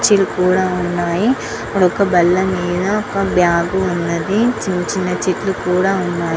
కుర్చీలు కూడా ఉన్నాయి ఒక బల్ల మీద ఒక బ్యాగ్ ఉన్నది చిన్న చిన్న చెట్లు కూడా ఉం --